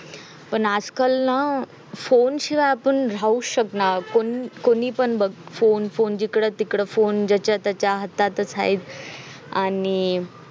पण आजकाल ना फोन शिवाय आपण राहूच शकणार नाही कोणी पण बघ फोन फोन जिकडं तिकडं फोन ज्याच्या त्याच्या हातातच आहे आणि